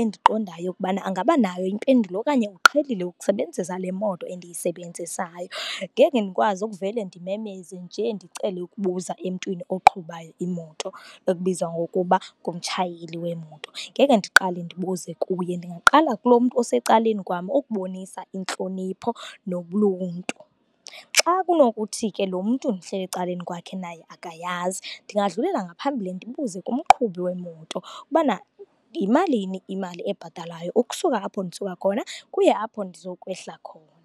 endiqondayo ukubana angabanayo impendulo okanye uqhelile ukusebenzisa le moto endiyisebenzisayo. Ngeke ndikwazi ukuvele ndimemeze nje ndicele ukubuza emntwini oqhubayo imoto ekubizwa ngokuba ngumtshayeli wemoto. Ngeke ndiqale ndibuze kuye, ndingaqala kulo mntu osecaleni kwam ukubonisa intlonipho nobuntu. Xa kunokuthi ke lo mntu ndihleli ecaleni kwakhe naye akayazi, ndingadlulela ngaphambili ndibuze kumqhubi wemoto ubana yimalini imali ebhatalwayo ukusuka apho ndisuka khona ukuya apho ndizokwehla khona.